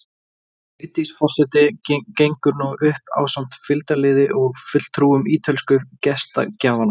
Vigdís forseti gengur nú upp ásamt fylgdarliði og fulltrúum ítölsku gestgjafanna.